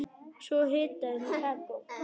Svo hitaði hún kakó.